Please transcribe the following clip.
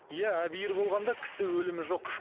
иә болғанда кісі өлімі жоқ